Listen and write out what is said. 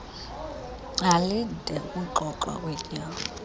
alinde ukuxoxwa kwetyala